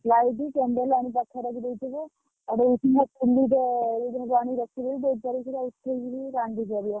Light, candle ଆଣି ପାଖରେ ରଖି ଦେଇଥିବୁ ।